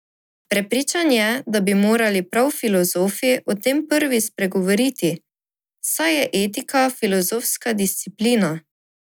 Prepričan je, da bi morali prav filozofi o tem prvi spregovoriti, saj je etika filozofska disciplina.